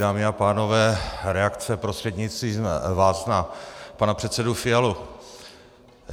Dámy a pánové, reakce prostřednictvím vás na pana předsedu Fialu.